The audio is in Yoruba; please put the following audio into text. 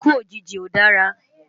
Ikú ójiji ó dárá